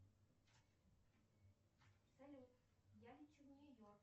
салют я лечу в нью йорк